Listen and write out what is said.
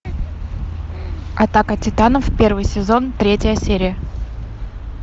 атака титанов первый сезон третья серия